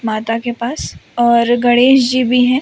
माता के पास और गणेश जी भी हैं।